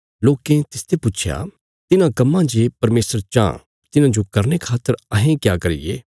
लोकें तिसते पुच्छया तिन्हां कम्मां जे परमेशर चाँह तिन्हाजो करने खातर अहें क्या करिये